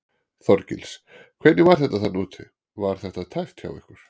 Þorgils: Hvernig var þetta þarna úti, var þetta tæpt hjá ykkur?